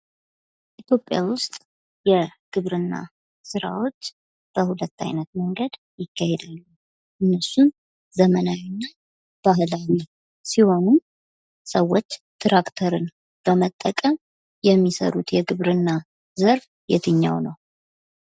ኢትዮጵያ ውስጥ የግብርና ስራዎች በሁለት አይነት መንገድ ይካሄዳል። እነሱም ባህላዊ እና ዘመናዊ ሲሆኑ ሰዎች ትራክተርን በመጠቀም የሚሰሩት የግብርና ዘርፍ የትኛው ነው?